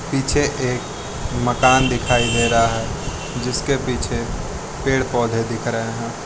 पीछे एक मकान दिखाई दे रहा है जिसके पीछे पेड़ पौधे दिख रहे हैं।